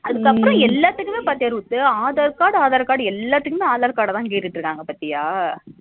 அதுகப்புறம் எல்லாத்துக்கும் பாத்துட்டு aadhar card, aadhar card எல்லாத்துக்குமே aadhar card தா கேட்டு இருக்காங்க பாத்தியா